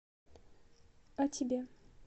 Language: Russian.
а тебе